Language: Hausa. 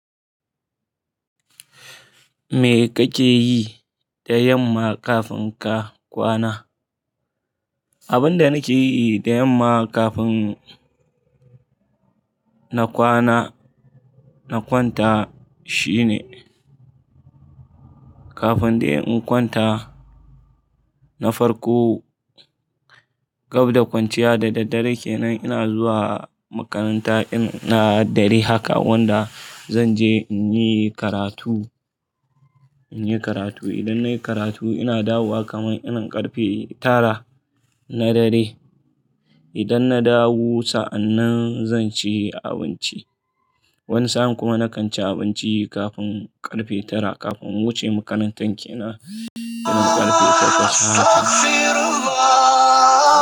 Me kake yi da yamma kafin ka kwana? Abin da nake yi da yamma kafin na kwana, na kwanta shine kafin dai in kwanta, na farko gab da kwanciya da daddare kenan ina zuwa makaranta na dare haka wanda zan je in yi karatu, in yi karatu. Idan nayi karatu ina dawowa kamar in karfe tara na dare. Idan na dawo sannan zan ci abinci. Wani sa'a kuma na kan ci abinci kafin karfe tara kafin in wuce makarantar kenan, ina karfe takwas.